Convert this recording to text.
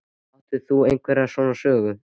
Átt þú einhverjar svona sögu?